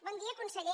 bon dia conseller